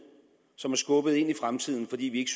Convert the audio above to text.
som er skubbet ind i fremtiden fordi vi ikke